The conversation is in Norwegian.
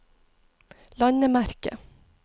landemerke